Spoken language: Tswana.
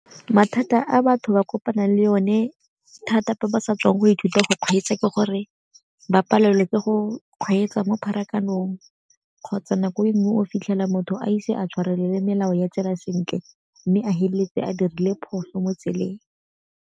Mathata a batho ba kopanang le o ne thata ba ba sa tswang go ithuta go kgweetsa ke gore ba palelwe ke go kgweetsa mo pharakanong, kgotsa nako e nngwe o fitlhela motho a ise a tshwarelele melao ya tsela sentle mme a feleletse a dirile phoso mo tseleng.